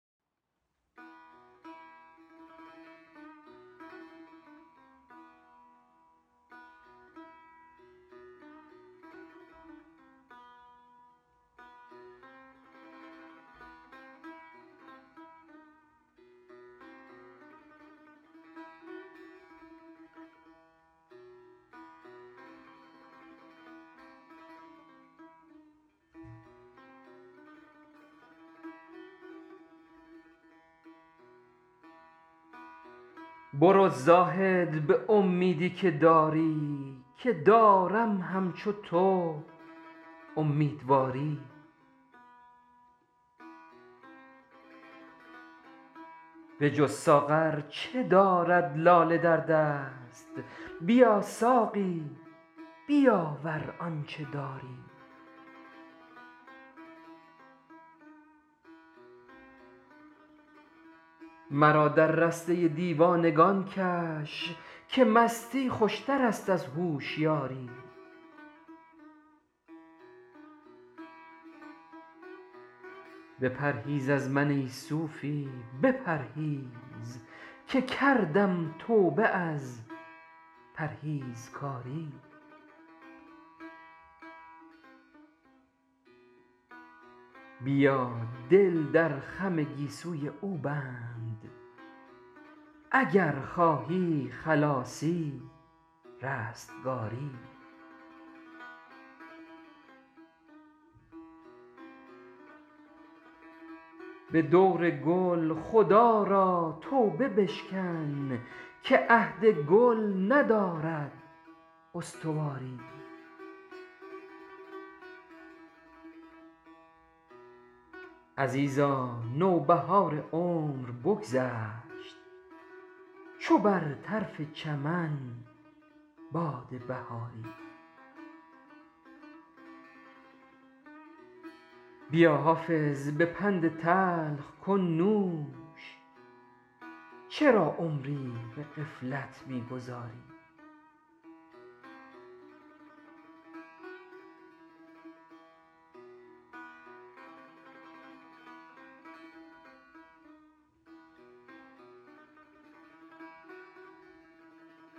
برو زاهد به امیدی که داری که دارم همچو تو امیدواری به جز ساغر چه دارد لاله در دست بیا ساقی بیاور آنچه داری مرا در رسته دیوانگان کش که مستی خوشتر است از هوشیاری بپرهیز از من ای صوفی بپرهیز که کردم توبه از پرهیزکاری بیا دل در خم گیسوی او بند اگر خواهی خلاصی رستگاری به دور گل خدا را توبه بشکن که عهد گل ندارد استواری عزیزا نوبهار عمر بگذشت چو بر طرف چمن باد بهاری بیا حافظ به پند تلخ کن نوش چرا عمری به غفلت می گذاری